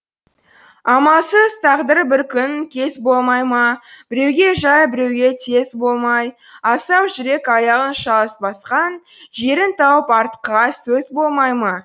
амалсыз тағдыр бір күн кез болмай ма біреуге жай біреуге тез болмай асау жүрек аяғын шалыс басқан жерін тауып артқыға сөз болмай ма